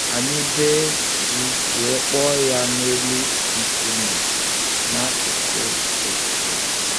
Anyị bee um ji wee kpọọ ya n’elu nkume n’akụkụ um ogige.